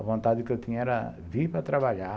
A vontade que eu tinha era vir para trabalhar.